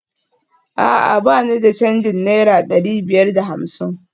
A'a ba ni da canjin naira dari biyar da hamsin?